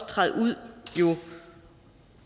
træde ind